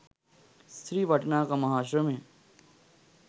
ස්ත්‍රී වටිනාකම හා ශ්‍රමය